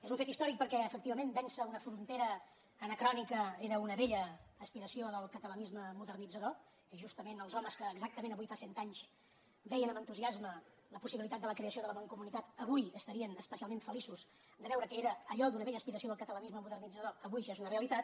és un fet històric perquè efectivament vèncer una frontera anacrònica era una vella aspiració del catalanisme modernitzador i justament els homes que exactament avui fa cent anys veien amb entusiasme la possibilitat de la creació de la mancomunitat avui estarien especialment feliços de veure que allò que era una vella aspiració del catalanisme modernitzador avui ja és una realitat